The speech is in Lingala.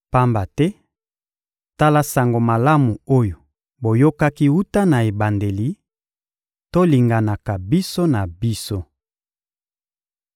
Pamba te, tala Sango Malamu oyo boyokaki wuta na ebandeli: Tolinganaka biso na biso.